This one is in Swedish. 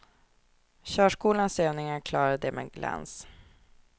Körskolans övningar klarade de med glans.